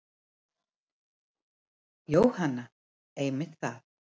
Jóhann: Einmitt það.